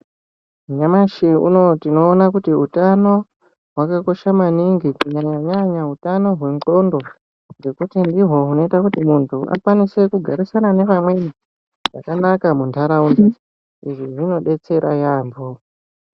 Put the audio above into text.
Nyamashi unowu tinoona kuti utano hwakakosha maningi kunyanyanyanya hutano hwengonxo ngekuti ndiwo unoita kuti muntu akwanise kugarisana nevamweni mundaraunda izvi zvinodetsera yambo.